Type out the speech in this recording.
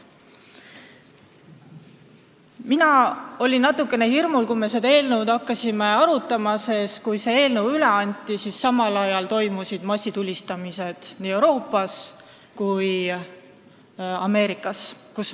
Mina olin natukene hirmul, kui me seda eelnõu arutama hakkasime, sest samal ajal, kui see eelnõu üle anti, toimusid massitulistamised nii Euroopas kui ka Ameerikas.